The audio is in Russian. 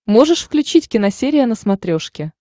можешь включить киносерия на смотрешке